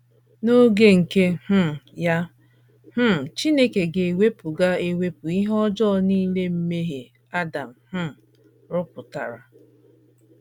N’oge nke um ya, um Chineke ga - ewepụ ga - ewepụ ihe ọjọọ nile mmehie Adam um rụpụtara.